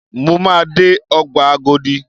Mo máa dé Ọgbà Agodi.